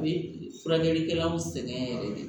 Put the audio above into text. U bɛ furakɛlikɛlaw sɛgɛn yɛrɛ de